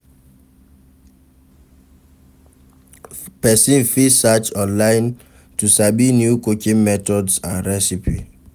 Persin fit search online to sabi new cooking methods and recipe